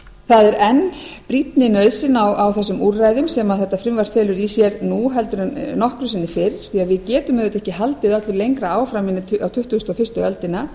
það er enn brýnni nauðsyn á þessum úrræðum sem þetta frumvarp felur í sér nú heldur en nokkru sinni fyrr því við getum auðvitað ekki haldið öllu lengra áfram inn í tuttugasta og fyrstu öldina